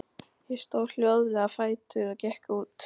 Ég stóð hljóðlega á fætur og gekk út.